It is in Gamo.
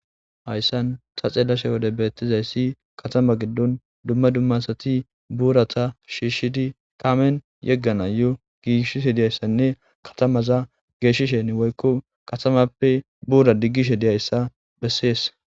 Haysan ta xeelashe yiyode taw betishekatama gidon duma duma adati buurata shiishidi kaamen yeganayo gigisishe dizaysanne katamaza geshishenne woyko katamappe buraza digishe dizaysa hesa besses